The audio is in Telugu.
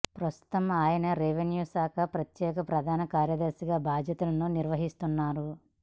ప్రస్తుతం ఆయన రెవెన్యూ శాఖ ప్రత్యేక ప్రధాన కార్యదర్శిగా బాధ్యతలను నిర్వహిస్తున్నారు